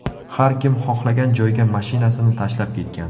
Har kim xohlagan joyga mashinasini tashlab ketgan.